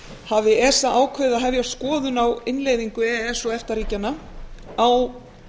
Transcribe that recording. hafi esa ákveðið að hefja skoðun á innleiðingu e e s og efta ríkjanna á